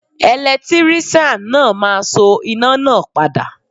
Ẹ̀lẹ́tíríṣàn náà máa so iná náà padà.